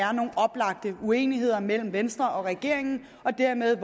er nogle oplagte uenigheder mellem venstre og regeringen og dermed